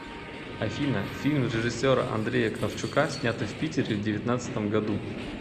афина фильм режиссера андрея кравчука снятый в питере в девятнацдатом году